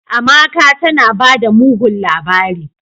"Amaka tanabada mugun labari."